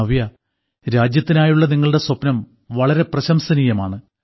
നവ്യാ രാജ്യത്തിനായുള്ള നിങ്ങളുടെ സ്വപ്നം വളരെ പ്രശംസനീയമാണ്